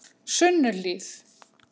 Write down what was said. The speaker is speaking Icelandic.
Sunnuhlíð